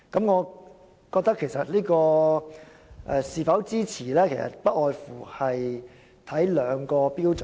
我認為是否支持這項議案，不外乎取決於兩項標準。